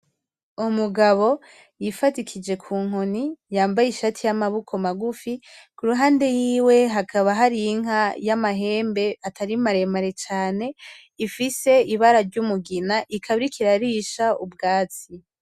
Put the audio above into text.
Umugabo yifadikije kunkoni, yambaye ishati y'amaboko magufi. Ku ruhande hiwe hakaba hari inka y'amahembe atari maremare cane, ifise ibara ry'umugina, ikaba iriko irarisha ubwatsi.